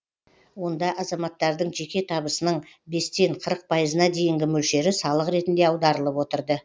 онда азаматтардың жеке табысының бестен қырық пайызына дейінгі мөлшері салық ретінде аударылып отырды